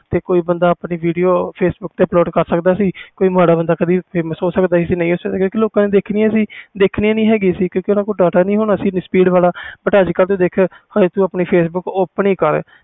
ਤੇ ਕੋਈ ਬੰਦਾ ਆਪਣੀ videofacebook ਤੇ ਬਣਾ ਕੇ upload ਕਰ ਸਕਦਾ ਸੀ ਕੋਈ ਮਾੜਾ ਬੰਦਾ famous ਹੋ ਸਕਦਾ ਜਾ ਕਿਉਕਿ ਲੋਕਾਂ ਨੇ ਦੇਖਣੀਆਂ ਨਹੀਂ ਸੀ ਕਿਉਕਿ ਓਹਨਾ ਕੋਲ data ਨਹੀਂ ਹੋਣਾ ਸੀ speed ਵਾਲਾ ਹੁਣ ਤੂੰ ਦੇਖਿਆ ਹੋਣਾ ਆਪਣੀ facebook open ਹੀ ਕਰ